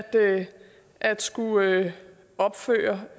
at skulle opføre